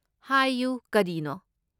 ꯍꯥꯏꯌꯨ, ꯀꯔꯤꯅꯣ?